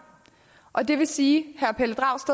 og det vil sige